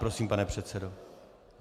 Prosím, pane předsedo.